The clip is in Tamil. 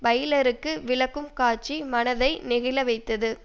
பைலருக்கு விளக்கும் காட்சி மனத்தை நெகிழ வைத்தது